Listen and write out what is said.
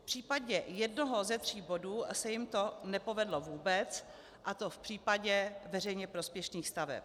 V případě jednoho ze tří bodů se jim to nepovedlo vůbec, a to v případě veřejně prospěšných staveb.